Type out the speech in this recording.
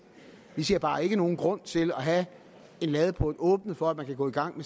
vi ser bare ikke nogen grund til at have en ladeport åbnet for at man kan gå i gang